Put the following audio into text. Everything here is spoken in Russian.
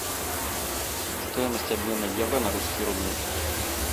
стоимость обмена евро на русские рубли